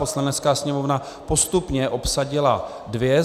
Poslanecká sněmovna postupně obsadila dvě.